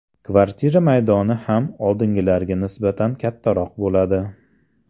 Kvartira maydoni ham oldingilariga nisbatan kattaroq bo‘ladi.